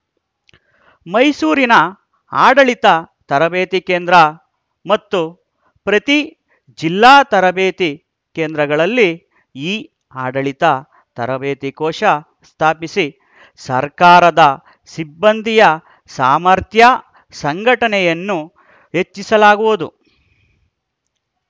ಮೈಸೂರಿನ ಆಡಳಿತ ತರಬೇತಿ ಕೇಂದ್ರ ಮತ್ತು ಪ್ರತಿ ಜಿಲ್ಲಾ ತರಬೇತಿ ಕೇಂದ್ರಗಳಲ್ಲಿ ಇಆಡಳಿತ ತರಬೇತಿ ಕೋಶ ಸ್ಥಾಪಿಸಿ ಸರ್ಕಾರದ ಸಿಬ್ಬಂದಿಯ ಸಾಮರ್ಥ್ಯ ಸಂಘಟನೆಯನ್ನು ಹೆಚ್ಚಿಸಲಾಗುವುದು